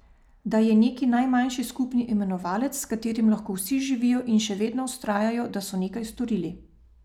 Da je neki najmanjši skupni imenovalec, s katerim lahko vsi živijo in še vedno vztrajajo, da so nekaj storili.